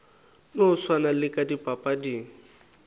no swana le ka dipapading